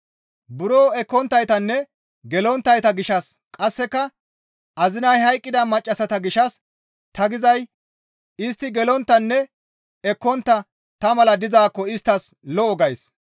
Buro ekkonttaytanne gelonttayta gishshas qasseka azinay hayqqida maccassata gishshas ta gizay istti gelonttanne ekkontta ta mala dizaakko isttas lo7o gays.